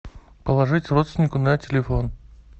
положить родственнику на телефон